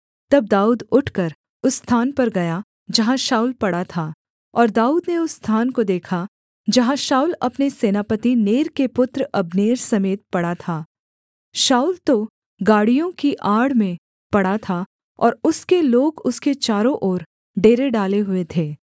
तब दाऊद उठकर उस स्थान पर गया जहाँ शाऊल पड़ा था और दाऊद ने उस स्थान को देखा जहाँ शाऊल अपने सेनापति नेर के पुत्र अब्नेर समेत पड़ा था शाऊल तो गाड़ियों की आड़ में पड़ा था और उसके लोग उसके चारों ओर डेरे डाले हुए थे